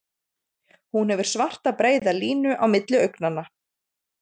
Hún hefur svarta breiða línu á milli augnanna.